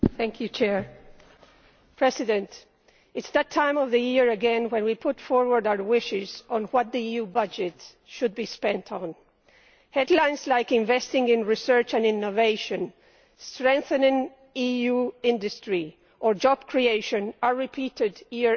Madam President, it is that time of the year again when we put forward our wishes regarding what the EU budget should be spent on. Headlines like investing in research and innovation', strengthening EU industry' or job creation' are repeated year after year.